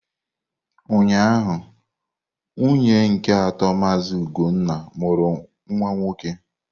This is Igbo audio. Ụnyahụ, nwunye nke atọ Mazị ugonna mụrụ nwa nwoke.